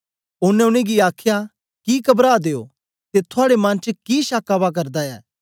ओनें उनेंगी आखया कि कबरां दे ओ ते थुआड़े मन च कि शक्क आवा करदे न